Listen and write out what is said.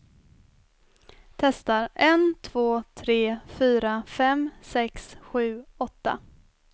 Testar en två tre fyra fem sex sju åtta.